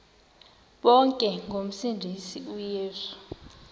bonke ngomsindisi uyesu